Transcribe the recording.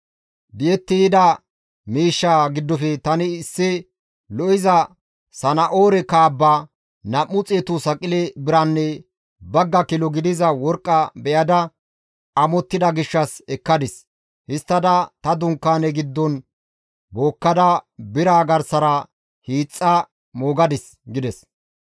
Di7etti yida miishshaa giddofe tani issi lo7iza Sana7oore kaabba, nam7u xeetu saqile biranne bagga kilo gidiza worqqa be7ada amottida gishshas ekkadis. Histtada ta dunkaane giddon bookkada biraa garsara hiixxa moogadis» gides.